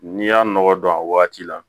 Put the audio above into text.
N'i y'a nɔgɔ don a waati la